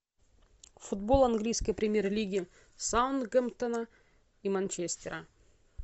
футбол английской премьер лиги саутгемптона и манчестера